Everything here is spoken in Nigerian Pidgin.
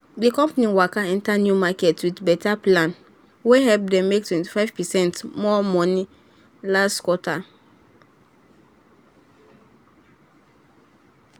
di company waka enter new market with better plan wey help dem make 25 percent more money last quarter.